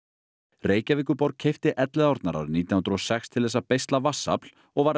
Reykjavíkurborg keypti Elliðaárnar árið nítján hundruð og sex til að beisla vatnsafl og var